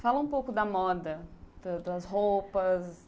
Fala um pouco da moda, ãh, das roupas.